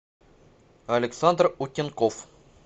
александр утенков